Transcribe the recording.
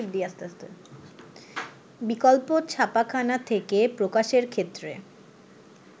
বিকল্প ছাপাখানা থেকে প্রকাশের ক্ষেত্রে